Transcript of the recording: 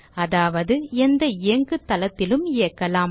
அதாவது எந்த இயங்கு தளத்திலும் இயக்கலாம்